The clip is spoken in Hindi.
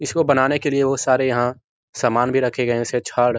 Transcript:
इसको बनाने के लिए वो सारे यहाँ सामान भी रख गए हैं जैसे छड़ --